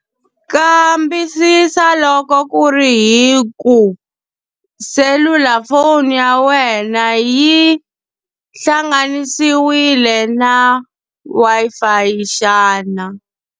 Kambisisa loko ku ri hi ku, selulafoni ya wena yi hlanganisiwile na Wi-Fi xana.